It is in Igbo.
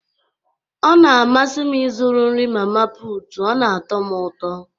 Ọ na-amasị m ịzụrụ nri mama putu, ọ na-atọ ụtọ